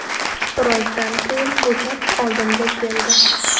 Birozdan keyin bo‘shab, oldimga keldi.